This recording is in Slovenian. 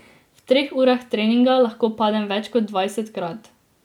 V treh urah treninga lahko padem več kot dvajsetkrat.